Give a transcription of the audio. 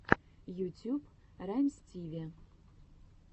ютьюб раймстиви